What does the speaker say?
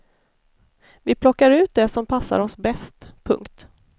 Vi plockar ut det som passar oss bäst. punkt